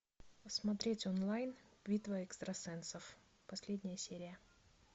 посмотреть онлайн битва экстрасенсов последняя серия